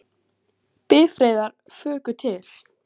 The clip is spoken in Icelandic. Bifreiðar fuku til